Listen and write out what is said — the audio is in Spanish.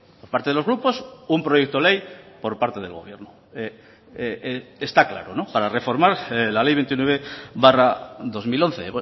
por parte de los grupos un proyecto ley por parte del gobierno está claro para reformar la ley veintinueve barra dos mil once